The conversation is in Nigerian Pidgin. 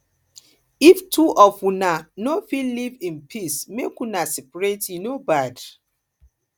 if two of una no fit live in peace make una separate e no bad